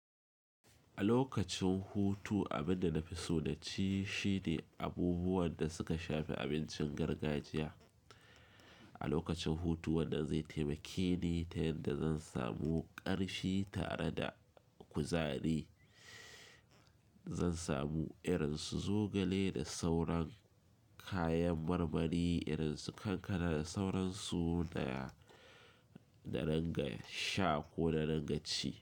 A lokacin hutu abin da na fi so naci shine abubuwan da suka shafi abincin gargajiya. A lokacin hutu wannan zai taimake ni ta yadda zan samu ƙarfi tare da kuzari. Zan samu irin su zogale da sauran kayan marmari, irin su kankana da sauransu da na rangas sha ko na ranga ci.